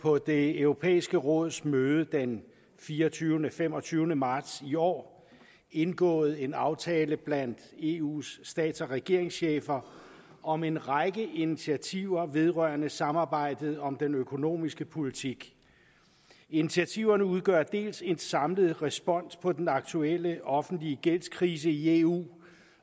på det europæiske råds møde den fireogtyvende og femogtyvende marts i år indgået en aftale blandt eu’s stats og regeringschefer om en række initiativer vedrørende samarbejdet om den økonomiske politik initiativerne udgør dels en samlet respons på den aktuelle offentlige gældskrise i eu